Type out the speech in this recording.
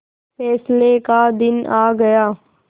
फैसले का दिन आ गया